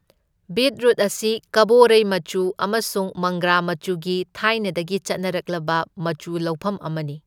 Beetroot ꯑꯁꯤ ꯀꯕꯣꯔꯩ ꯃꯆꯨ ꯑꯃꯁꯨꯡ ꯃꯪꯒ꯭ꯔꯥ ꯃꯆꯨꯒꯤ ꯊꯥꯏꯅꯗꯒꯤ ꯆꯠꯅꯔꯛꯂꯕ ꯃꯆꯨ ꯂꯧꯐꯝ ꯑꯃꯅꯤ꯫